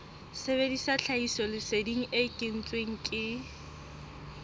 sebedisa tlhahisoleseding e kentsweng ke